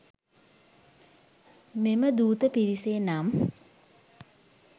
මෙම දූත පිරිසේ නම්